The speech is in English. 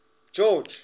george